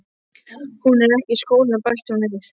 Hún er ekki í skólanum, bætti hún við.